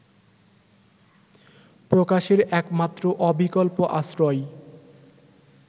প্রকাশের একমাত্র অবিকল্প আশ্রয়